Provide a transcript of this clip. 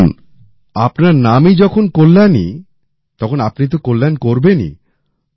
দেখুন আপনার নামই যখন কল্যাণী তখন আপনি তো কল্যাণ করবেনই